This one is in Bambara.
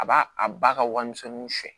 A b'a a ba ka warimisɛnw siɲɛ